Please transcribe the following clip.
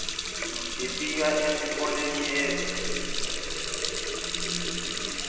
efika esikolene ebe